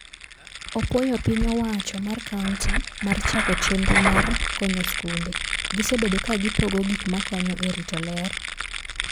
Opuoyo piny owacho mar kaunti mar chako chenro mar konyo skunde. Gisebedo ka gipogo gik makonyo e rito ler.